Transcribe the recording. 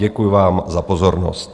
Děkuji vám za pozornost.